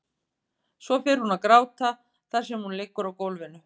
Svo fer hún að gráta þar sem hún liggur á gólfinu.